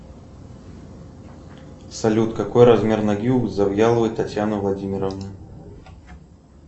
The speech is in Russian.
салют какой размер ноги у завьяловой татьяны владимировны